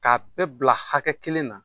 K'a bɛɛ bila hakɛ kelen na